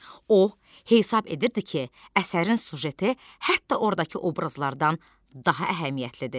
O hesab edirdi ki, əsərin süjeti hətta ordakı obrazlardan daha əhəmiyyətlidir.